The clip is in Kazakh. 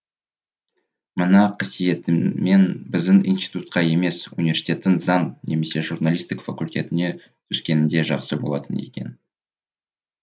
мына қасиетіммен біздің институтқа емес университеттің заң немесе журналистік факультетіне түскеніңде жақсы болатын екен